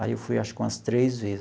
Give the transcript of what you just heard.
Aí, eu fui acho que umas três vezes.